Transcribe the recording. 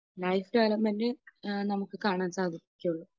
നമുക്ക് കാണാൻ സാധിക്കുകയുള്ളൂ.